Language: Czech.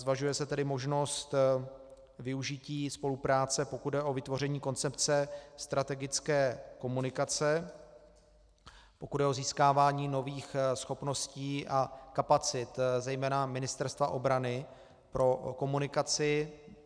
Zvažuje se tedy možnost využití spolupráce, pokud jde o vytvoření koncepce strategické komunikace, pokud jde o získávání nových schopností a kapacit zejména Ministerstva obrany pro komunikaci.